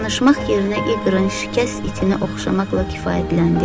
Danışmaq yerinə İqırın şikəst itini oxşamaqla kifayətləndi.